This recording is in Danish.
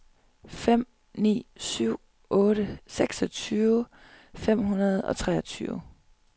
fem ni syv otte seksogtyve fem hundrede og treogtyve